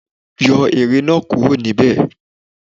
Gbé ère náà kúrò níbẹ̀!